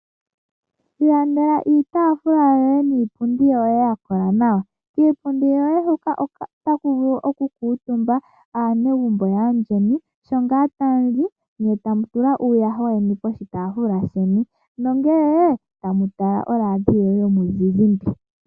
Ilandela iitafula yoye niipundi yoye yakola nawa .kiipundi yoye hoka otakuvulu oku kuutumba aanegumbo yayeni sho ngaa tayali ne tamu tula uuyaha weni poshitaafula sheni nongele tamu tala o Radio yomuzizimba.